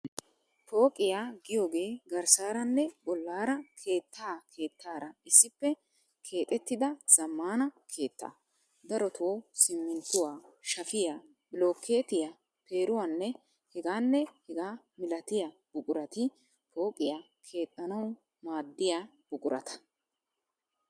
Pooqiyaa giyogee garssaaranne bollaara keettaa keettaara issippe keexettida zammaana keettaa. Daroto simminttuwaa, shafiyaa, bilookeettiya, peeruwaanne, ... hegaanne hegaa milatiya buqurati pooqiyaa keexxanawu maaddiya buqurata.